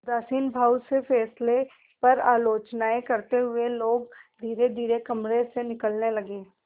उदासीन भाव से फैसले पर आलोचनाऍं करते हुए लोग धीरेधीरे कमरे से निकलने लगे